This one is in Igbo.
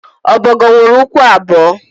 ọbọgwụ nwere ụkwụ abụọ